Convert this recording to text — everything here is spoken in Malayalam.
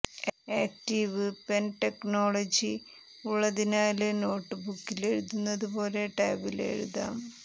ആക്ടീവ് പെന് ടെക്നോളജി ഉള്ളതിനാല് നോട്ട് ബുക്കില് എഴുതുന്നതു പോലെ ടാബില് എഴുതാം